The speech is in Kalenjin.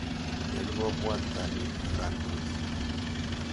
Nyalu kopwat kanetik kandoik.